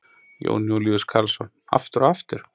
Jón Júlíus Karlsson: Aftur og aftur?